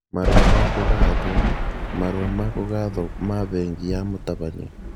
Marũa ma kũgathwo (marũa ma kũgathwo ma bengi ya mũtabania)